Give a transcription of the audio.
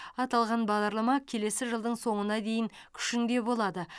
аталған бағдарлама келесі жылдың соңына дейін күшінде болады